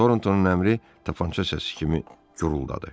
Torntonun əmri tapança səsi kimi guruldadı.